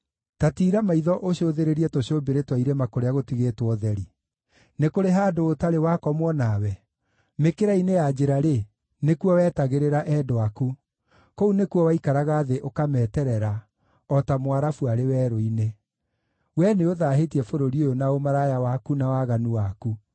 “Ta tiira maitho ũcũthĩrĩrie tũcũmbĩrĩ twa irĩma kũrĩa gũtigĩtwo ũtheri. Nĩ kũrĩ handũ ũtarĩ wakomwo nawe? Mĩkĩra-inĩ ya njĩra-rĩ, nĩkuo wetagĩrĩra endwa aku, kũu nĩkuo waikaraga thĩ ũkameterera, o ta Mũarabu arĩ werũ-inĩ. Wee nĩũthaahĩtie bũrũri ũyũ na ũmaraya waku na waganu waku.